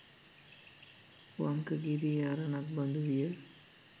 වංකගිරියේ අරණක් බඳු විය.